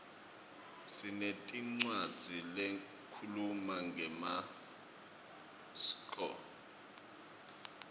sinetincwadzi lehkhuluma ngemaskco